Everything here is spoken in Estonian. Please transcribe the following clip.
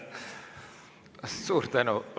Suur tänu!